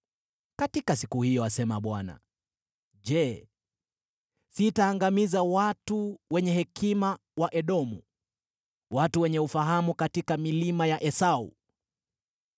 “Katika siku hiyo,” asema Bwana , “je, sitaangamiza watu wenye hekima wa Edomu, watu wenye ufahamu katika milima ya Esau?